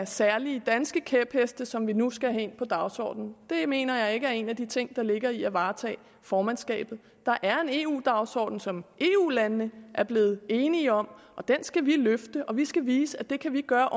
særlige danske kæpheste som vi nu skal have ind på dagsordenen det mener jeg ikke er en af de ting der ligger i det at varetage formandskabet der er en eu dagsorden som eu landene er blevet enige om og den skal vi løfte og vi skal vise at vi kan gøre